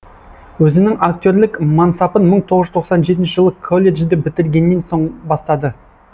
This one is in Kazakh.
өзінің актерлік мансапын иың тоғыз жүз тоқсан жетінші жылы колледжді бітіргеннен сон бастады